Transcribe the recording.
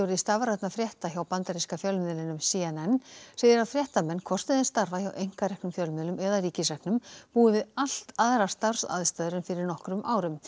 stafrænna frétta hjá bandaríska fjölmiðlinum c n n segir að fréttamenn hvort sem þeir starfa hjá einkareknum fjölmiðlum eða ríkisreknum búi við allt aðrar starfsaðstæður en fyrir nokkrum árum